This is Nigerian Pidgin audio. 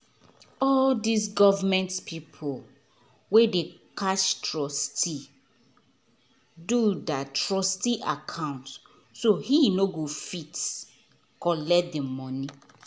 all these government people wen dey catch trustee doh that trustee account so he nor go fit collect he money